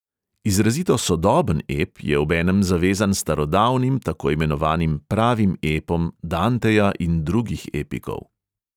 Izrazito sodoben ep je obenem zavezan starodavnim takoimenovanim pravim epom danteja in drugih epikov.